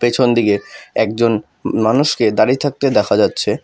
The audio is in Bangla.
পেছনদিকে একজন মা-মানুষকে দাঁড়িয়ে থাকতে দেখা যাচ্ছে।